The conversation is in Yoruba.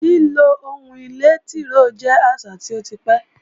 Lílo ohun ìlé tìróò jẹ́ àṣà tó ti pẹ́